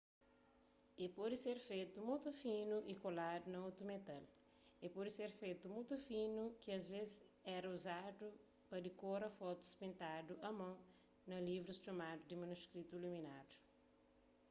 el pode ser fetu mutu finu y koladu na otu metal el pode ser fetu mutu finu ki asvês éra uzadu pa dikora fotus pintadu a mon na livrus txomadu di manuskritu iluminadu